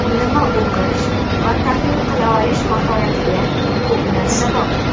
nima o‘qish va tahlil qila olish mahoratiga ko‘p narsa bog‘liq.